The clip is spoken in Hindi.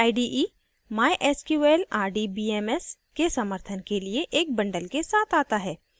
netbeans ide mysql rdbms के समर्थन के लिए एक bundled के साथ आता है